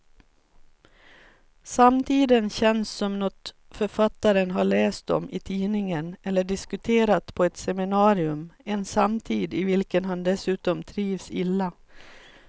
Samtiden känns som något författaren har läst om i tidningen eller diskuterat på ett seminarium, en samtid i vilken han dessutom trivs illa.